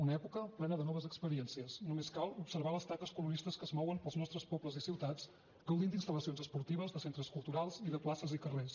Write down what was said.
una època plena de noves experiències només cal observar les taques coloristes que es mouen pels nostres pobles i ciutats gaudint d’instal·lacions esportives de centres culturals i de places i carrers